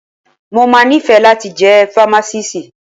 Mo máa nífẹ̀ẹ́ láti jẹ́ fámásíìsì.